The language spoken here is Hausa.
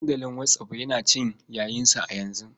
Dandalin whatsapp yana cin yayinsa a yanzu.